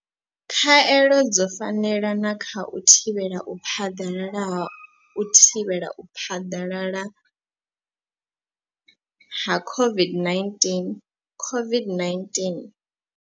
Khaelo dzo fanela na kha u thivhela u phaḓalala ha u thivhela u phaḓalala ha COVID-19 COVID-19.